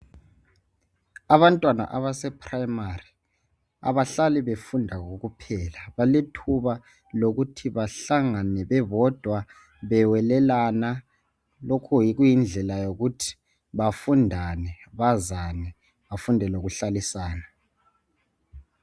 Abantwana abasephuremari abahlali befunda kokuphela, kulethuba lokuthi bahlangane bebodwa, bewelelana. Lokhu kuyindlela yokuthi bafundane ,bazane bafunde lokuhlalisana.